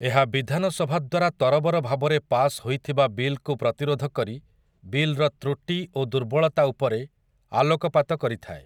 ଏହା ବିଧାନ ସଭାଦ୍ୱାରା ତରବର ଭାବରେ ପାଶ୍ ହୋଇଥିବା ବିଲ୍‌କୁ ପ୍ରତିରୋଧ କରି ବିଲ୍‌ର ତୃଟି ଓ ଦୁର୍ବଳତା ଉପରେ ଆଲୋକ ପାତ କରିଥାଏ ।